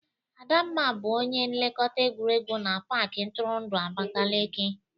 Adamma bụ onye nlekọta egwuregwu na pak ntụrụndụ Abakeleke.